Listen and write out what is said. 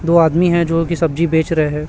दो आदमी है जो की सब्जी बेच रहे हैं।